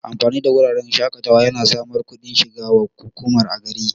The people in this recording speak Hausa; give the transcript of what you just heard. Amfanin wuraren shaƙatawa yana samar kudin shiga wa hukuma a gari